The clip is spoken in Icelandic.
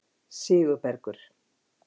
Sigurbergur